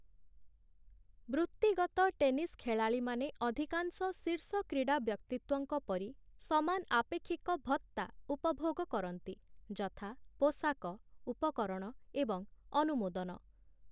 ବୃତ୍ତିଗତ ଟେନିସ୍ ଖେଳାଳିମାନେ ଅଧିକାଂଶ ଶୀର୍ଷ କ୍ରୀଡ଼ା ବ୍ୟକ୍ତିତ୍ୱଙ୍କ ପରି ସମାନ ଆପେକ୍ଷିକ ଭତ୍ତା ଉପଭୋଗ କରନ୍ତି ଯଥା ପୋଷାକ, ଉପକରଣ ଏବଂ ଅନୁମୋଦନ ।